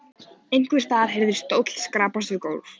Einhvers staðar heyrðist stóll skrapast við gólf.